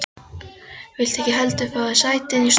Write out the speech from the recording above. Viltu ekki heldur fá þér sæti inni í stofu?